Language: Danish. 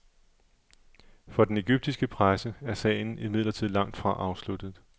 For den egyptiske presse er sagen imidlertid langt fra afsluttet.